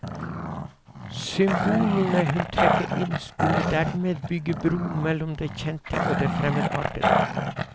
Symbolene hun trekker inn skulle dermed bygge bro mellom det kjente og det fremmedartede.